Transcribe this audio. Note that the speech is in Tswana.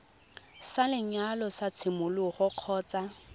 sa lenyalo sa tshimologo kgotsa